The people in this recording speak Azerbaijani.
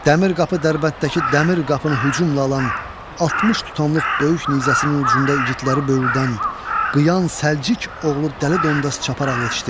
Dəmir qapı Dərbənddəki dəmir qapını hücumla alan, 60 tutamlıq böyük nizəsinin ucunda igidləri böyürdən, Qıyan Səlciq oğlu Dəli Dondaz çaparaq yetişdi.